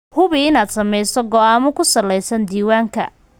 Hubi inaad samayso go'aamo ku salaysan diiwaanka.